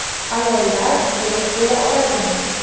Ayollar do‘st bo‘la oladimi?